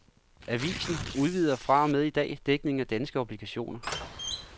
Avisen udvider fra og med i dag dækningen af danske obligationer.